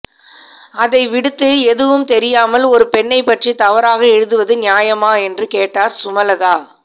அதை விடுத்து எதுவும் தெரியாமல் ஒரு பெண்ணைப் பற்றி தவறாக எழுதுவது நியாயமா என்றும் கேட்டார் சுமலதா